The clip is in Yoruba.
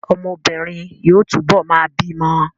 Ọmọbìnrin yóò túbọ̀ máa bímọ